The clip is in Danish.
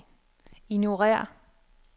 ignorér